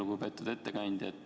Lugupeetud ettekandja!